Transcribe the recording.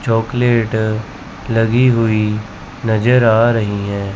Chocolate लगी हुई नजर आ रही है।